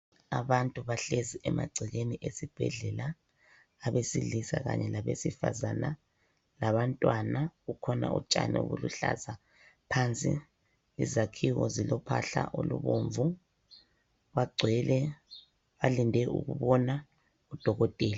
Abantu bahlezi emagcekeni esibhedlela, abesilisa kanye labesifazana, labantwana, kukhona utshani obuluhlaza phansi. Izakhiwo zilophahla olubomvu, bagcwele, balinde ukubona udokotela.